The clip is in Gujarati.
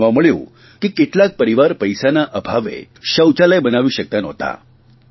જાણવા મળ્યું કે કેટલાક પરિવારો પૈસાના અભાવે શૌચાલય બનાવી શકતા નહોતા